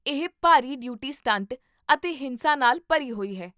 ਇਹ ਭਾਰੀ duty stunt ਅਤੇ ਹਿੰਸਾ ਨਾਲ ਭਰੀ ਹੋਈ ਹੈ